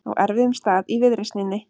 Á erfiðum stað í viðreisninni